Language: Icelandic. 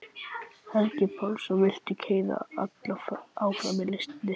Helgi Pálsson vildi keyra alla áfram í listinni.